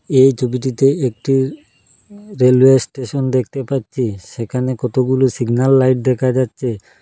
এই ছবিটিতে একটি উ-উ রেলওয়ে স্টেশন দেখতে পাচ্ছি সেখানে কতগুলো সিগনাল লাইট দেখা যাচ্ছে--